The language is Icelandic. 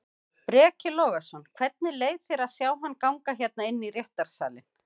Breki Logason: Hvernig leið þér að sjá hann ganga hérna inn í réttarsalinn?